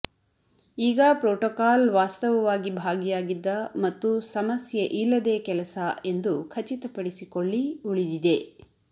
ಈಗ ಪ್ರೋಟೋಕಾಲ್ ವಾಸ್ತವವಾಗಿ ಭಾಗಿಯಾಗಿದ್ದ ಮತ್ತು ಸಮಸ್ಯೆ ಇಲ್ಲದೆ ಕೆಲಸ ಎಂದು ಖಚಿತಪಡಿಸಿಕೊಳ್ಳಿ ಉಳಿದಿದೆ